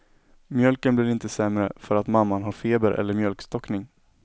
Mjölken blir inte sämre för att mamman har feber eller mjölkstockning.